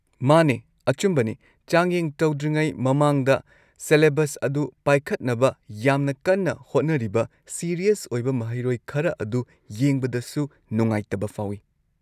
ꯃꯥꯅꯦ, ꯑꯆꯨꯝꯕꯅꯤ, ꯆꯥꯡꯌꯦꯡ ꯇꯧꯗ꯭ꯔꯤꯉꯩ ꯃꯃꯥꯡꯗ ꯁꯦꯂꯦꯕꯁ ꯑꯗꯨ ꯄꯥꯏꯈꯠꯅꯕ ꯌꯥꯝꯅ ꯀꯟꯅ ꯍꯣꯠꯅꯔꯤꯕ ꯁꯤꯔꯤꯌꯁ ꯑꯣꯏꯕ ꯃꯍꯩꯔꯣꯏ ꯈꯔ ꯑꯗꯨ ꯌꯦꯡꯕꯗꯁꯨ ꯅꯨꯡꯉꯥꯏꯇꯕ ꯐꯥꯎꯏ꯫